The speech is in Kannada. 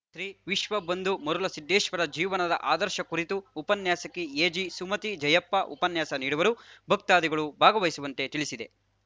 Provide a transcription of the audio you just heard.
ಶ್ರೀ ವಿಶ್ವ ಬಂಧು ಮರುಳಸಿದ್ದೇಶ್ವರ ಜೀವನದ ಆದರ್ಶ ಕುರಿತು ಉಪನ್ಯಾಸಕಿ ಎಜಿಸುಮತಿ ಜಯಪ್ಪ ಉಪನ್ಯಾಸ ನೀಡುವರು ಭಕ್ತಾದಿಗಳು ಭಾಗವಹಿಸುವಂತೆ ತಿಳಿಸಿದೆ